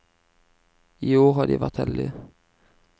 I år har de vært heldige.